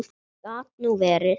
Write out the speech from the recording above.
Gat nú verið